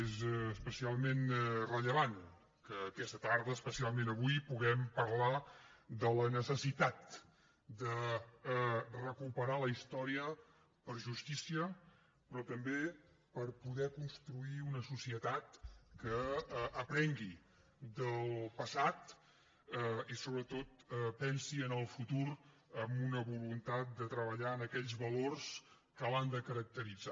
és especialment rellevant que aquesta tarda especialment avui puguem parlar de la necessitat de recuperar la història per justícia però també per poder construir una societat que aprengui del passat i sobretot pensi en el futur amb una voluntat de treballar en aquells valors que l’han de caracteritzar